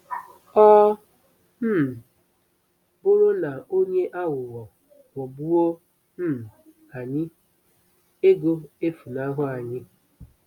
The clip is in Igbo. Ọ um bụrụ na onye aghụghọ ghọgbuo um anyị, ego efunahụ anyị.